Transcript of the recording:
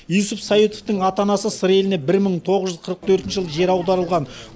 юсуп саидовтың ата анасы сыр еліне бір мың тоғыз жүз қырық төртінші жылы жер аударылған